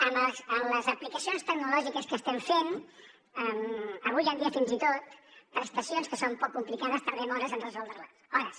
amb les aplicacions tecnològiques que estem fent avui en dia fins i tot prestacions que són poc complicades tardem hores en resoldre les hores